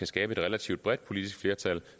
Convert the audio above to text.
skabe et relativt bredt politisk flertal